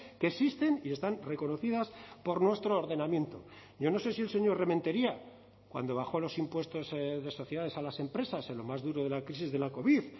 que existen y están reconocidas por nuestro ordenamiento yo no sé si el señor rementeria cuando bajó los impuestos de sociedades a las empresas en lo más duro de la crisis de la covid